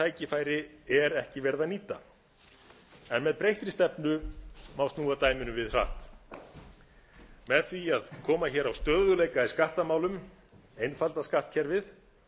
tækifæri er ekki verið að nýta en með breyttri stefnu má snúa dæminu við hratt með því að koma hér á stöðugleika í skattamálum einfalda skattkerfið